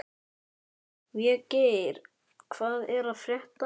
Végeir, hvað er að frétta?